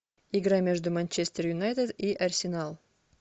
игра между манчестер юнайтед и арсенал